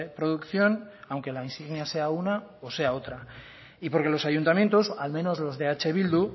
producción aunque la insignia sea una o sea otra y porque los ayuntamientos al menos los de eh bildu